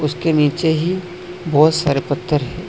उसके नीचे ही बहुत सारे पत्थर है।